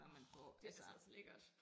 Orh det altså også lækkert